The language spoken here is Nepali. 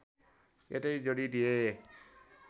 यतै जोडी दिए